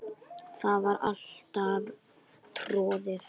Það var alltaf troðið.